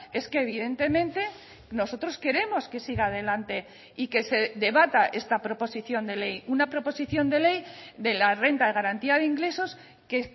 es que evidentemente nosotros queremos que siga adelante y que se debata esta proposición de ley una proposición de ley de la renta de garantía de ingresos que